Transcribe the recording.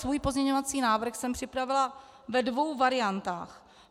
Svůj pozměňovací návrh jsem připravila ve dvou variantách.